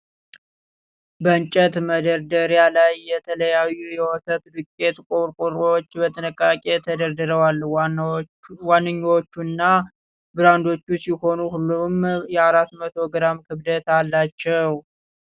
በእንጨት መደርደሪያ ላይ የተለያዩ የወተት ዱቄት ቆርቆሮዎች በጥንቃቄ ተደርድረዋል ። ዋነኞቹ እና ብራንዶች ሲሆኑ ሁሉም የ400 ግራም ክብደት አላቸው ።